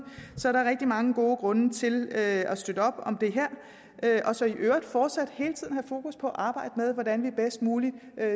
så der er rigtig mange gode grunde til at støtte op om det her og så i øvrigt fortsat hele tiden have fokus på at arbejde med hvordan vi bedst muligt